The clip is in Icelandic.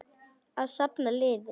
Að safna liði!